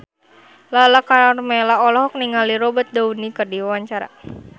Lala Karmela olohok ningali Robert Downey keur diwawancara